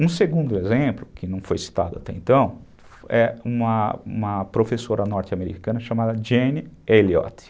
Um segundo exemplo, que não foi citado até então, é uma uma professora norte-americana chamada Jane Elliot.